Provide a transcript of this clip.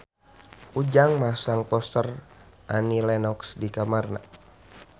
Ujang masang poster Annie Lenox di kamarna